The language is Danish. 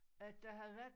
At der havde været